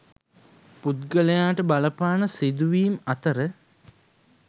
පුද්ගලයාට බලපාන සිදුවීම් අතර